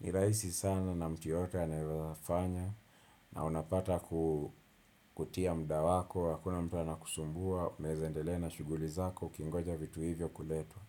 Ni rahisi sana na mtu yeyote anaezafanya na unapata kutia muda wako, hakuna mtu anakusumbua, unaeza endelea na shughuli zako, ukingoja vitu hivyo kuletwa.